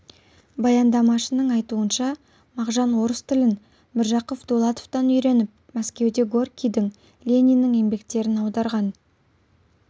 баяндамашының айтуынша мағжан орыс тілін міржақып дулатовтан үйреніп мәскеуде горькийдің лениннің еңбектерін аударған